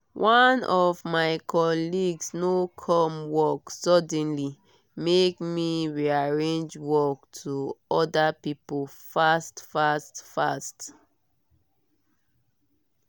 one of my colleagues no come work suddenly make me rearrange work to other people fast fast fast